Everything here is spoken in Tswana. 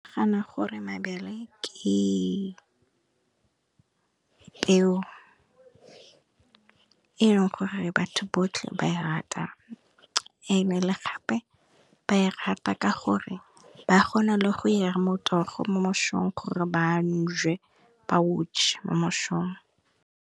Ke nagana gore mabele ke peo, e e leng gore batho botlhe ba e rata, ebile gape ba e rata ka gore ba kgona le go ira motogo mo mošong gore ba o je mo mošong.